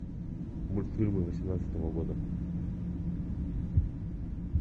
мультфильмы восемнадцатого года